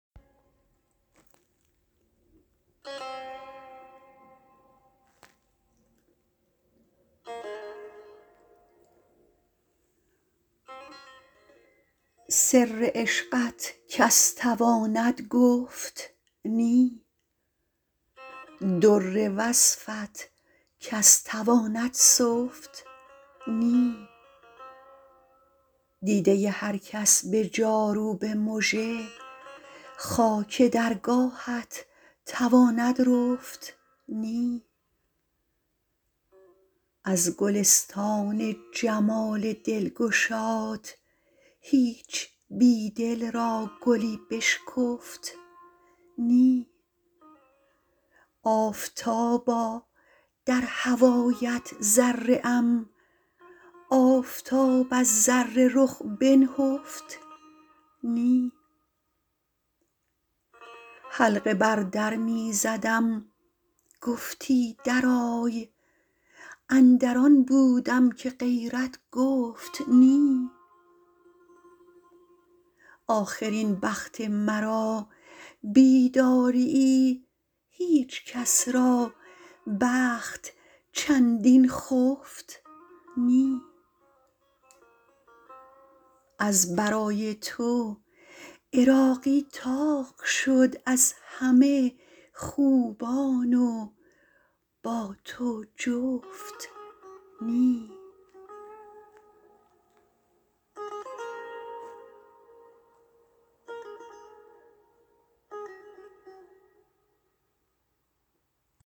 سر عشقت کس تواند گفت نی در وصفت کس تواند سفت نی دیده هر کس به جاروب مژه خاک درگاهت تواند رفت نی از گلستان جمال دلگشات هیچ بی دل را گلی بشکفت نی آفتابا در هوایت ذره ام آفتاب از ذره رخ بنهفت نی حلقه بر در می زدم گفتی درآی اندر آن بودم که غیرت گفت نی آخر این بخت مرا بیداریی هیچ کس را بخت چندین خفت نی از برای تو عراقی طاق شد از همه خوبان و با تو جفت نی